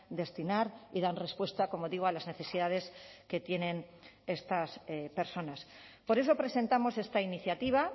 destinar y dan respuesta como digo a las necesidades que tienen estas personas por eso presentamos esta iniciativa